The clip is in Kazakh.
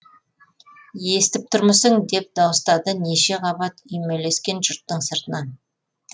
естіп тұрмысың деп дауыстады неше қабат үймелескен жұрттың сыртынан